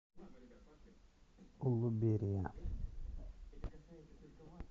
улуберия